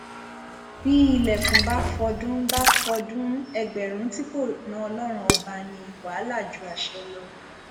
bí ilẹkùn bá fọdún bá fọdún ẹgbẹrún tí kò na ọlọrun ọba ní wàhálà ju àṣẹ lọ